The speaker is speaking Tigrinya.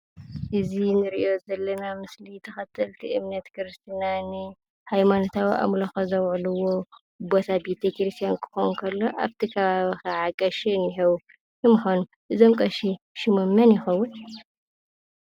እዚ ንርኦ ዘለና ምስሊ ተኸተልቲ እምነት ክርስትና ሃይማኖትዊ ኣምልኾ ዝውዕልዎ ቦታ ቤተ ክርስትያን ክኾን ከሎ። ኣብ እቲ ከባቢ ካዓ ቀሺ እንሄው። እዞም ቀሺ ሽሞም መን ይኸዉን?